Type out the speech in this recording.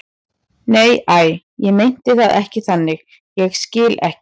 Nei, æi, ég meinti það ekki þannig, ég skil ekki.